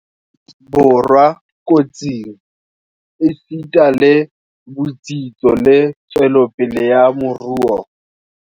Borwa kotsing, esita le botsitso le tswelopele ya moruo.